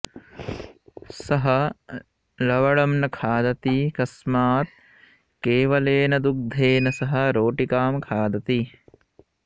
सः लवणं न खादति तस्मात् केवलेन दुग्धेन सह रोटिकां खादति